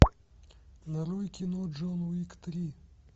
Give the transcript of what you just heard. нарой кино джон уик три